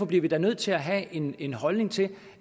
bliver da nødt til at have en en holdning til